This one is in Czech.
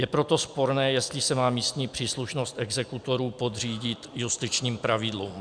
Je proto sporné, jestli se má místní příslušnost exekutorů podřídit justičním pravidlům.